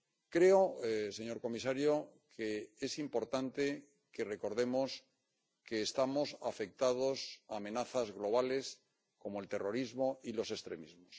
Creo, señor comisario, que es importante que recordemos que estamos afectados por amenazas globales como el terrorismo y los extremismos.